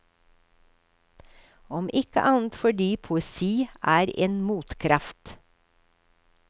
Om ikke annet fordi poesi er en motkraft.